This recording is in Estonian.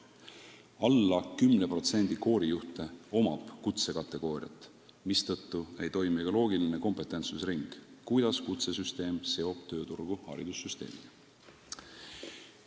Vähem kui 10%-l koorijuhtidest on kutsekategooria, mistõttu ei toimi ka loogiline kompetentsusring, mis tagaks selle, et kutsesüsteem seob tööturgu haridussüsteemiga.